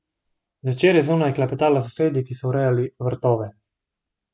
Zvečer je zunaj klepetala s sosedi, ki so urejali vrtove.